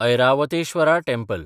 Airavatesvara temple